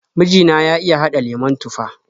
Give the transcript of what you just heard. Miji na ya iya haɗa lemon tufah.